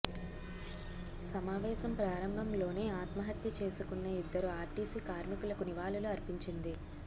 సమావేశం ప్రారంభంలోనే ఆత్మహత్య చేసుకున్న ఇద్దరు ఆర్టీసీ కార్మికులకు నివాళులు అర్పించింది